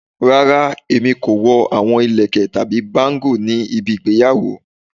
Rara, Emi ko wọ awọn ilẹkẹ tabi bangle ni ibi igbeyawo